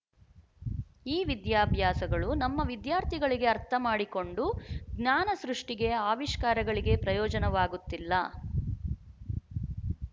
ಈ ವಿದ್ಯಾಭ್ಯಾಸಗಳು ನಮ್ಮ ವಿದ್ಯಾರ್ಥಿಗಳಿಗೆ ಅರ್ಥಮಾಡಿಕೊಂಡು ಜ್ಞಾನಸೃಷ್ಟಿಗೆ ಆವಿಷ್ಕಾರಗಳಿಗೆ ಪ್ರಯೋಜನವಾಗುತ್ತಿಲ್ಲ